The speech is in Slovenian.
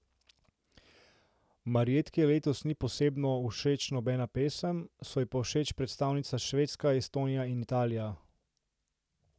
Marjetki letos ni posebno všeč nobena pesem, so ji pa všeč predstavnica Švedska, Estonija in Italija.